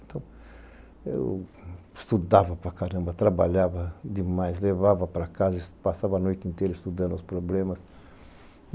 Então, eu estudava para caramba, trabalhava demais, levava para casa, passava a noite inteira estudando os problemas.